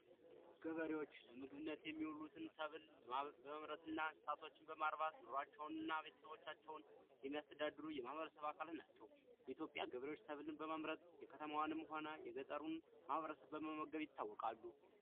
ገበሬዎች ለምግብነት የሚያገለግሉ ሰብሎችን በማምረትና እንስሳቶችን በማርባት ቤተሰቦቻቸውን የሚያስተዳድሩ የማህበረሰብ አካል ናቸው የኢትዮጵያ ገበሬዎች በማምረት የከተማውንም ሆነ የገጠሩን በመመገብ ይታወቃሉ።